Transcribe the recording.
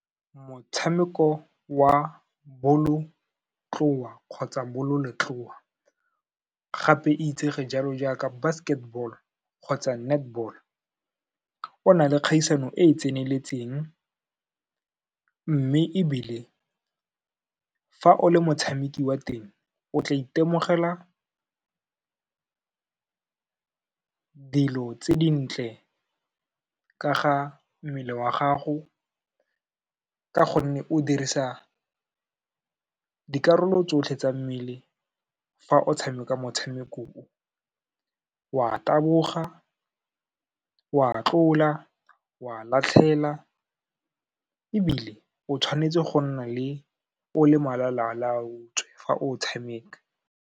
Motshameko wa bolotloa kgotsa bololetloa, gape e itsege jalo jaaka basketball kgotsa netball, o na le kgaisano e e tseneletseng mme ebile fa o le motshameki wa teng, o tla itemogela dilo tse dintle ka ga mmele wa gago, ka gonne o dirisa dikarolo tsotlhe tsa mmele fa o tshameka motshamekong o, wa taboga, wa tlola, wa latlhela ebile o tshwanetse go nna o le malalaalaotswe fa o tshameka.